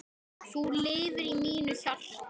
Þú lifir í mínu hjarta.